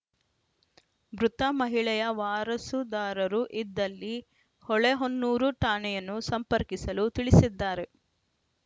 ಮೃತ ಮಹಿಳೆಯ ವಾರಸುದಾರರು ಇದ್ದಲ್ಲಿ ಹೊಳೆಹೊನ್ನೂರು ಠಾಣೆಯನ್ನು ಸಂಪರ್ಕಿಸಲು ತಿಳಿಸಿದ್ದಾರೆ